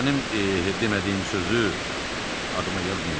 Mənim demədiyim sözü adıma yazmayın.